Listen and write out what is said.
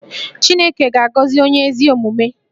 Chineke ga-agọzi onye ezi omume